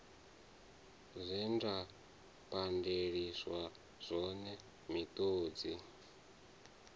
zwe nda pandeliswa zwone miṱodzi